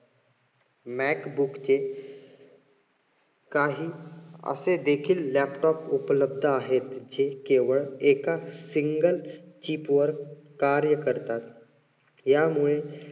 mac book चे काही असे देखील laptop उपलब्ध आहेत. जे केवळ एकाच single chip वर कार्य करतात. यामुळे